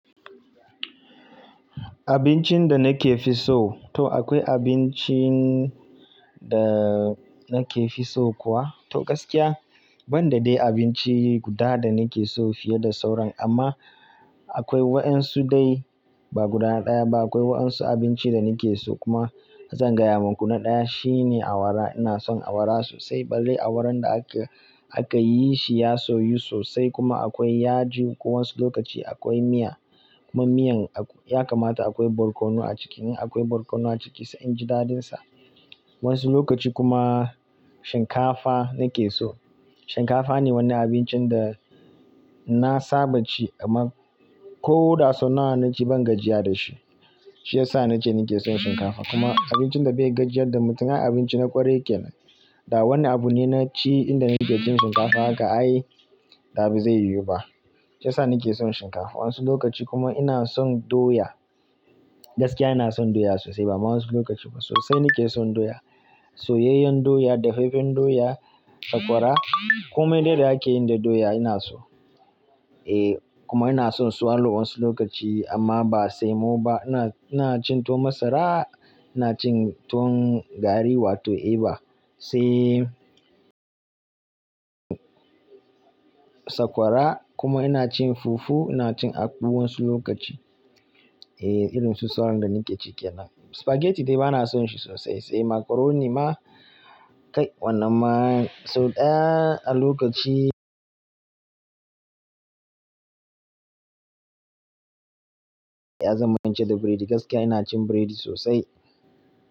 Abincin da na ke fi so, to akwai abincin da na ke fi so kuwa? To gaskiya ban da dai abinci guda da nake so fiye da sauran amma akwai waɗansu dai ba guda ɗaya ba, akwai waɗansu abinci da nake so kuma zan gaya maku na ɗaya shine Awara. Ina son Awara sosai balle Awaran da aka, aka yi shi ya soyu sosai kuma akwai yaji. Wasu lokaci akwai miya kuma miyan ya kamata akwai barkono a ciki. In akwai barkono a ciki sai inji daɗin sa. Wasu lokaci kuma shinkafa nake so. Shinkafa ne wani abincin da na saba ci amma ko da sau nawa na ci ban gajiya da shi. Shi ya sa na ce nake son shinkafa kuma abincin da bai gajiyar da mutum, ai abinci na kwarai kenan. Da wani abu ne na ci inda nake cin shinkafa haka ai da ba zai yiwu ba. Shi ya sa nake son shinkafa. Wasu lokaci kuma ina son doya. Gaskiya ina son doya sosai ba wasu lokaci ba sosai nake son doya. Soyayyen doya, dafaffen doya, sakwara kuma inda da ake yin da doya ina so. Eh kuma ina son swallow wasu lokaci amma ba sai muba. Ina, ina cin to masara, ina cin tuwa gari wato eba sai Sakwara kuma ina cin fufu, ina cin akpu wasu lokaci. Eh irin su sauran da nake cike nan. Spaghetti dai bana son shi sosai sai macaroni ma kai wannan ma sau ɗaya a lokaci Eh zan fahimci da biredi gaskiya ina cin biredi sosai.